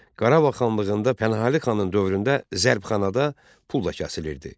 Qarabağ xanlığında Pənahəli xanın dövründə zərbxanada pul da kəsilirdi.